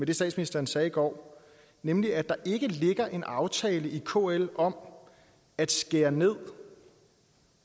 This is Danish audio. det statsministeren sagde i går nemlig at der ikke ligger en aftale i kl om at skære ned